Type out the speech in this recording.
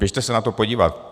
Běžte se na to podívat.